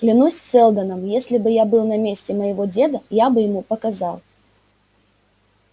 клянусь сэлдоном если б я был на месте моего деда я бы ему показал